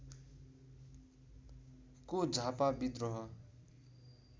को झापा विद्रोह